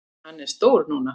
Hann er stór núna.